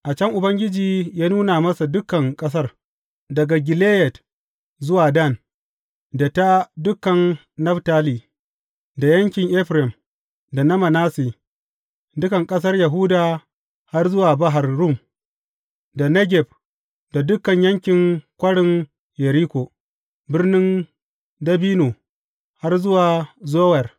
A can Ubangiji ya nuna masa dukan ƙasar, daga Gileyad zuwa Dan, da ta dukan Naftali, da yankin Efraim da na Manasse, dukan ƙasar Yahuda har zuwa Bahar Rum, da Negeb da dukan yankin Kwarin Yeriko, Birnin Dabino, har zuwa Zowar.